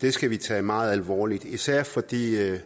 det skal vi tage meget alvorligt især fordi